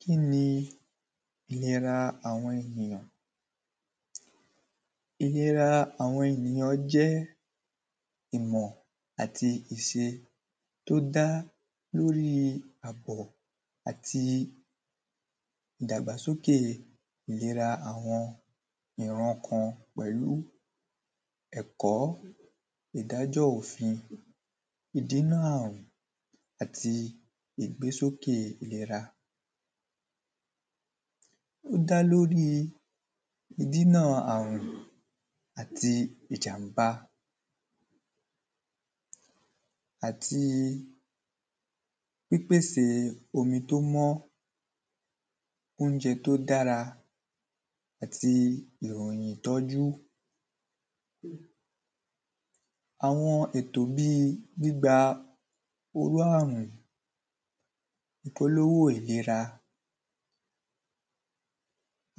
Kín ni ìlera àwọn ènìyàn? Ìlera àwọn ènìyàn jẹ́ ìmọ̀ àti ìse tó dá lórí àpọ̀ àti ìdàgbàsóke ìlera àwọn ìran kan. Pẹ̀lú ẹ̀kọ́ ìdájọ́ òfin, ìdínà àrùn, àti ìgbésókè ìlera. Ó dá lórí ìdínà àrùn àti ìjàm̀bá. Àti omi tó mọ́, óúnjẹ tó dára àti ìròyìn ìtọ́jú. Àwọn ètò bíi gbígba olú àrùn ìkólówó ìlera.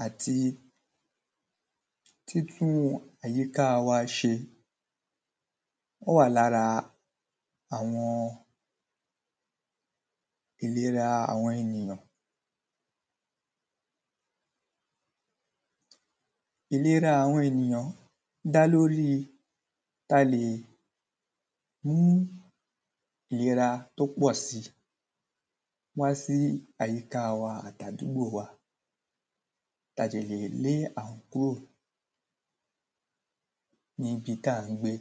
Àti títún àyíká wa ṣe ó wà lára àwọn ìlera àwọn ènìyàn. Ìlera àwọn ènìyàn dá lórí ta lè hú ìlera tó pọ̀ si. Wá sí àyíká wa àti àdúgbò wa. Ta ti lè lé àrùn kúrò níbi tà ń gbé.